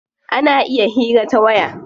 Ana iya hira ta waya.